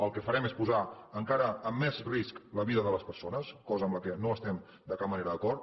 el que farem és posar encara en més risc la vida de les persones cosa amb què no estem de cap manera d’acord